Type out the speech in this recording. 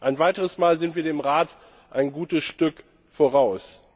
Ein weiteres Mal sind wir dem Rat ein gutes Stück voraus.